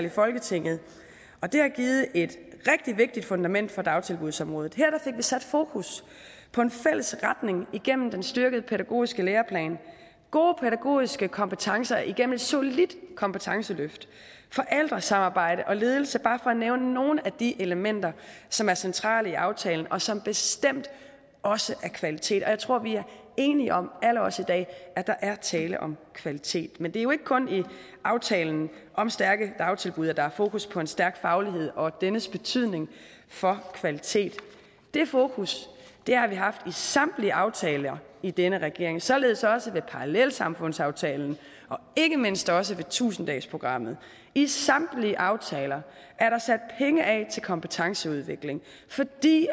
i folketinget og det har givet et rigtig vigtigt fundament for dagtilbudsområdet her fik vi sat fokus på en fælles retning igennem den styrkede pædagogiske læreplan gode pædagogiske kompetencer igennem et solidt kompetenceløft forældresamarbejde og ledelse bare for at nævne nogle af de elementer som er centrale i aftalen og som bestemt også er kvalitet jeg tror vi er enige om alle os i dag at der er tale om kvalitet men det er jo ikke kun i aftalen om stærke dagtilbud at der er fokus på en stærk faglighed og dennes betydning for kvalitet det fokus har vi haft i samtlige aftaler i denne regering således også med parallelsamfundsaftalen og ikke mindst også i tusind dagesprogrammet i samtlige aftaler er der sat penge af til kompetenceudvikling fordi